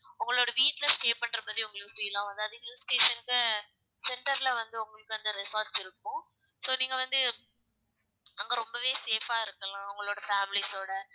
உங்களோட வீட்ல stay பண்ற மாதிரி உங்களுக்கு feel ஆவும் அதாவது hill station ல center ல வந்து உங்களுக்கு அந்த resorts இருக்கும் so நீங்க வந்து அங்க ரொம்பவே safe ஆ இருக்கலாம் உங்களோட families ஓட